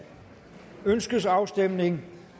ønskes afstemning